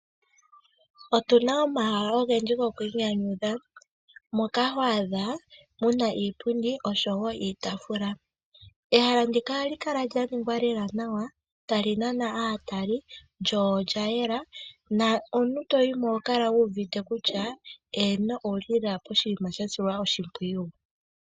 Otuna omahala ogendji goku inyanydha moka ho adha muna iipundi niitafula. Ehala ndika ohali kala tali nana aatali lyo olya yela nomuntu toyimo oho kala wu uvite kutya eno owuli lela poshinima sha silwa oshimpwiyu.